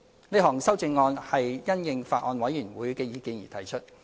這項修正案是因應法案委員會的意見而提出。